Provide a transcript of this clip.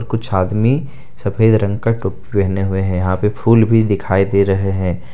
कुछ आदमी सफेद रंग का टोपी पहने हुए है यहां पे फूल भी दिखाई दे रहे हैं।